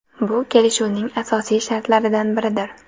Bu kelishuvning asosiy shartlaridan biridir.